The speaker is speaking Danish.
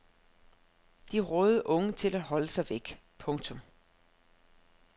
De rådede unge til at holde sig væk. punktum